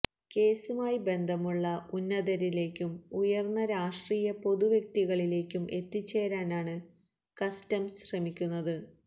കേസുമായി ബന്ധമുള്ള ഉന്നതരിലേക്കും ഉയർന്ന രാഷ്ട്രീയ പൊതു വ്യക്തികളിലേക്കും എത്തിച്ചേരാനാണ് കസ്റ്റംസ് ശ്രമിക്കുന്നത്